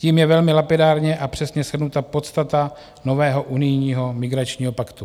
Tím je velmi lapidárně a přesně shrnuta podstata nového unijního migračního paktu.